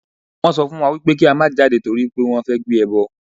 Wọ́n sọ fún wa pé kí a má jáde nítorí pé wọ́n fẹ́ gbé ẹbọ.